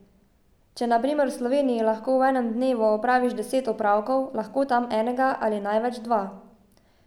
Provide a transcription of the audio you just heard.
Če na primer v Sloveniji lahko v enem dnevu opraviš deset opravkov, lahko tam enega ali največ dva.